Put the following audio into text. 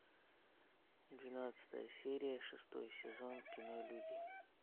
двенадцатая серия шестой сезон кино люди